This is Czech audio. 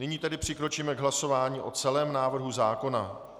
Nyní tedy přikročíme k hlasování o celém návrhu zákona.